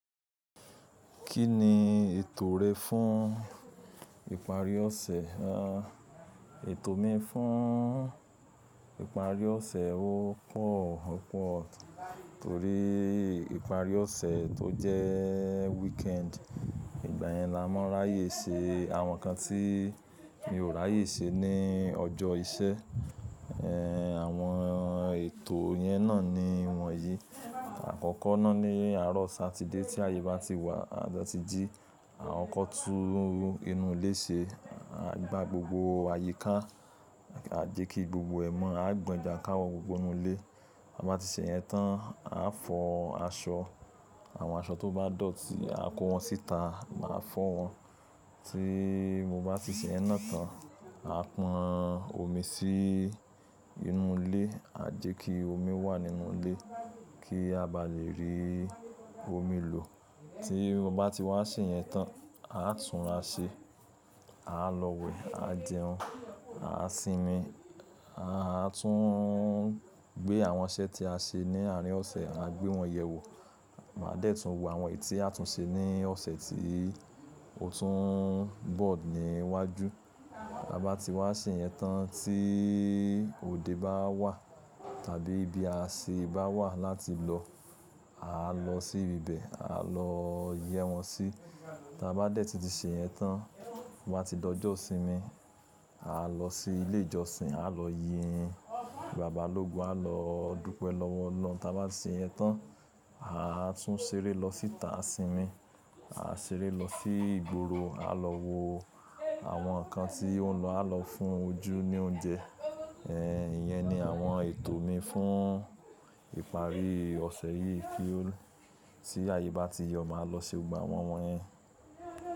Kí ni ètò rẹ fún ìparí ọ̀sẹ̀? À, ètò mi fún ìparí ọ̀sẹ̀ ó pọ̀ ọ́pọ̀ torí ìparí ọ̀sẹ̀ tó jẹ́ weekend, ìgbà yẹn la mọ ráyè ṣe àwọn nǹkan tí mi ò ráyè ṣe ní ọjọ́ iṣẹ́. Ẹ̀, àwọn ètò yẹn náà ni wọ̀nyí. Àkọ́kọ́ náà ni àárọ̀ Saturday tí àyè bá ti wà, tí a bá ti jí, a kọ́kọ́ tún inú ilé ṣe. A gbá gbogbo àyíká, a jẹ́ kí gbogbo ẹ̀mọ́, a gbọn jànkáwọ gbogbo inú ilé. A bá ti ṣe yẹn tán, a fọ aṣọ. Àwọn aṣọ tó bá dọ̀tí, a kó wọn síta, màá fọ́ wọn. Tí mo bá ti ṣe yẹn náà tán, a pọn omi sí inú ilé, a jẹ́ kí omi wà nínú ilé kí a bá lè rí omi lò. Tí mo bá ti wá ṣe yẹn tán, a túnra ṣe, a lọ wẹ̀, a jẹun, a sinmi. A tún gbé àwọn iṣẹ́ tí a ṣe ní àárín ọ̀sẹ̀, a gbé wọn yẹ wò. Màá dẹ̀ tún wo àwọn èyí tí a tún ṣe ní ọ̀sẹ̀ tí ó tún bọ̀ ní iwájú. Bá ti wá ṣe yẹn tán tí òde bá wà tàbí ibi àṣẹ bá wà láti lọ, à lọ sí ibẹ̀, à lọ yẹ́ wọn sí. Tí a bá dẹ̀ ti ṣe yẹn tán, mo bá ti dọjọ́ ìsinmi, à lọ sí ilé ìjọsìn, à lọ yin Bàbá ológun á lọ dúpẹ́ lọ́wọ́ ọlọ́hun Tí a bá ṣe yẹn tán, à tún ṣeré lọ síta sinmi. À ṣeré lọ sí ìgboro, à lọ wo àwọn nǹkan tí ó ń lọ, à lọ fún ojú ní oúnjẹ. Ẹ̀, ìyẹn ni àwọn ètò mi fún ìparí ọ̀sẹ̀ yìí kí ó-- tí àyè bá ti yọ, màá lọ se gbogbo àwọn wọ̀n yẹn.